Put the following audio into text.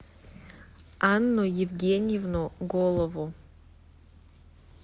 анну евгеньевну голову